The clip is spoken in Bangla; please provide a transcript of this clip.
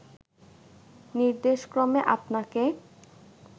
নির্দেশক্রমে আপনাকে